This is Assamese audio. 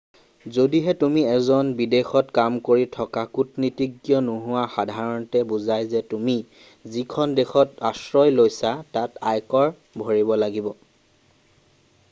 যদিহে তুমি এজন বিদেশত কাম কৰি থকা কূটনীতিজ্ঞ নোহোৱা সাধাৰণতে বুজায় যে তুমি যিখন দেশত আশ্ৰয় লৈছা তাত আয়কৰ ভৰিব লাগিব